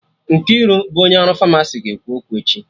Nkiru bụ onye ọrụ Famasi ga-ekwu okwu echi